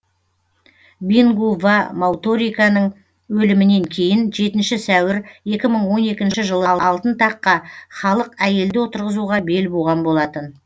бингу ва мутариканың өлімінен кейін жетінші сәуір екі мың он екінші жылы алтын таққа халық әйелді отырғызуға бел буған болатын